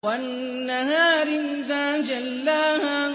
وَالنَّهَارِ إِذَا جَلَّاهَا